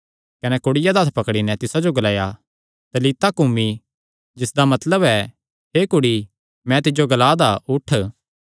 कने कुड़िया दा हत्थ पकड़ी नैं तिसा जो ग्लाया तलीता कूमी जिसदा मतलब ऐ हे कुड़ी मैं तिज्जो ग्ला दा उठ